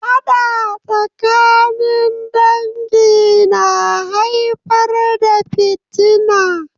Faɗa tsakanin dangi na haifar da fitina.